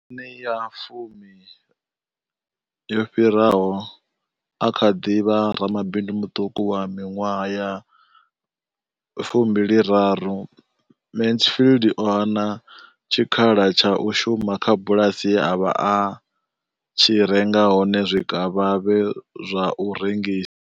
Miṅwaha ya fumi yo fhiraho, a tshi kha ḓi vha ramabindu muṱuku wa miṅwaha ya fumbili raru, Mansfield o hana tshikhala tsha u shuma kha bulasi ye a vha a tshi renga hone zwikavhavhe zwa u rengisa.